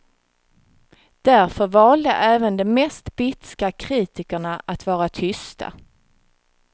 Därför valde även de mest bitska kritikerna att vara tysta.